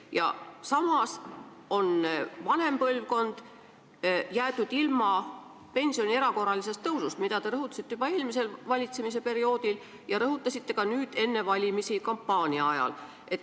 Ja samas on vanem põlvkond jäetud ilma pensioni erakorralisest tõusust, millest te rõhutatult rääkisite juba eelmisel valitsemisperioodil ja ka nüüd enne valimisi kampaania ajal.